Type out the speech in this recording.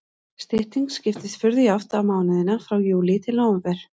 Styttingin skiptist furðu jafnt á mánuðina frá júlí til nóvember.